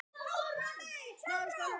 Alls gaus þarna